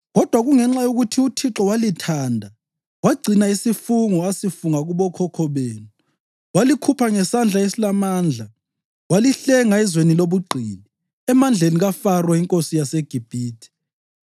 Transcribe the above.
Kodwa kungenxa yokuthi uThixo walithanda wagcina isifungo asifunga kubokhokho benu walikhupha ngesandla esilamandla walihlenga ezweni lobugqili, emandleni kaFaro inkosi yaseGibhithe.